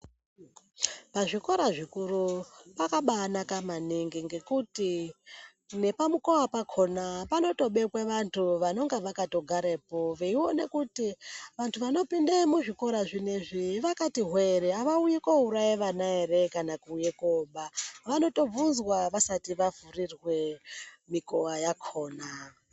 Pazvikora zvikuru pakabanaka maningi ngekuti nepamukova pakona panotobekwa vantu vanenge vakatogara varipo veiona kuti vantu vanopinde muzvikora zvinezvi vakati hwe ere avauyi kouraya vana ere kana kuuya koba. Vanotobvunzwa vasati vavhurirwa mukova yakona.